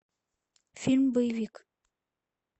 фильм боевик